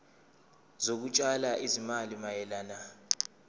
zokutshala izimali mayelana